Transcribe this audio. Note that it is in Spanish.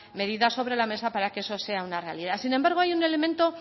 medidas sobre la mesa para que eso sea una realidad sin embargo hay un elemento